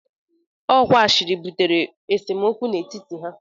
Ọ kwa ashịrị butere esemokwu n'etiti ha